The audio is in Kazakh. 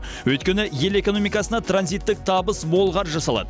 өйткені ел экономикасына транзиттік табыс мол қаржы салады